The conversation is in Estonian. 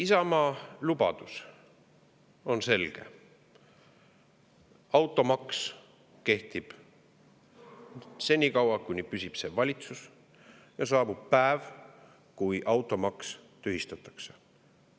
Isamaa lubadus on selge: automaks kehtib senikaua, kui püsib see valitsus, ja saabub päev, kui automaks tühistatakse.